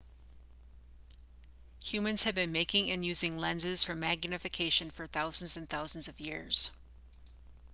humans have been making and using lenses for magnification for thousands and thousands of years